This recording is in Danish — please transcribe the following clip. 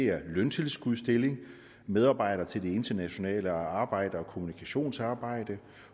er løntilskudsstilling medarbejder til det internationale arbejde og kommunikationsarbejde